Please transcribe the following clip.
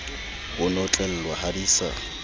ho notlellwa ha di sa